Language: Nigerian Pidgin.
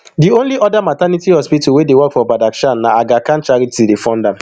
di only oda maternity hospital wey dey work for badakhshan na aga khan charity dey fund am